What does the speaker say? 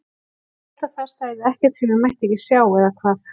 Ég hélt að þar stæði ekkert sem ég mætti ekki sjá, eða hvað?